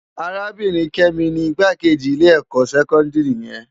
Arábirin Kemi ni Igbákéji pirinsipá ilè èkò sèkòndiri yèn